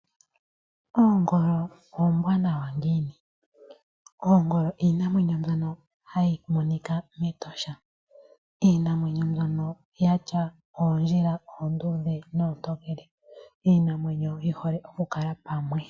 Oongolo oombwanawa ngiini? oongolo iinamwenyo mbyono hayi monika mEtosha. Iinamwenyo mbyono ya tya oondjila oonduudhe noontokele. Iinamwenyo yi hole oku kala pamwe.